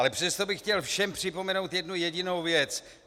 Ale přesto bych chtěl všem připomenout jednu jedinou věc.